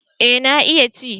Eh na iya ci